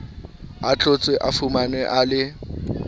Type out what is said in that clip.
ahlotswe a fumanwe a le